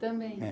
Também? É